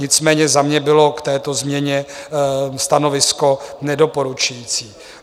Nicméně za mne bylo k této změně stanovisko nedoporučující.